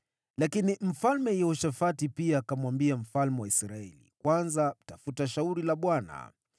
Lakini Yehoshafati pia akamwambia mfalme wa Israeli, “Kwanza tafuta shauri la Bwana .”